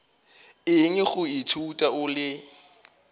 eng go ithuta o le